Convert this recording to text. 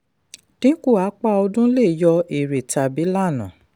dínkù apá ọdún lè yọ èrè tàbí lànà.